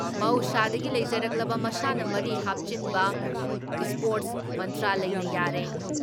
ꯃꯍꯧꯁꯥꯗꯒꯤ ꯂꯩꯖꯔꯛꯄ ꯃꯁꯥꯟꯅ ꯃꯔꯤ ꯍꯥꯞꯆꯤꯟꯕ ꯏꯁꯄꯣꯔꯠꯁ ꯃꯥꯟꯇ꯭ꯔꯥꯂꯌꯅ ꯌꯥꯔꯦ ꯫